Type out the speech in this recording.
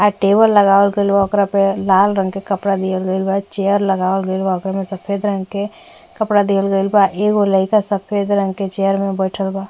आ टेबल लगावल गइल बा ओकरा पे लाल रंग के कपड़ा दिहल गइल बा। चेयर लगावल गईल बा ओकरा में सफ़ेद रंग के कपड़ा दिहल गईल बा। एगो लइका सफ़ेद रंग के चेयर में बैठल बा।